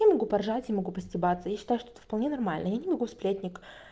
я поржать я могу постебаться я считаю что это вполне нормально я не могу сплетник